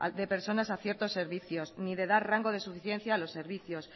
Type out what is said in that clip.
de personas a ciertos servicios ni de dar rango de suficiencia a los servicios